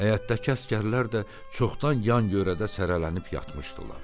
Həyətdəki əsgərlər də çoxdan yan görədə səralənib yatmışdılar.